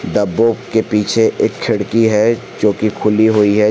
डब्बों के पीछे एक खिड़की है जो की खुली हुई है।